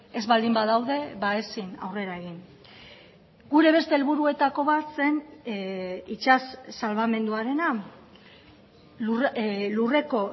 ez baldin badaude ezin aurrera egin gure beste helburuetako bat zen itsas salbamenduarena lurreko